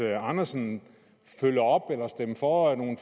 andersen følge op på eller stemme for nogle